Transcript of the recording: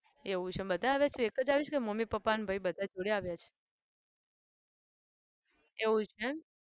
એવું છે એમ. બધા આવ્યા છે? તું એક જ આવી છે કે મમ્મી, પપ્પા અને ભાઈ બધા જોડે આવ્યા છે? એવું છે એમ.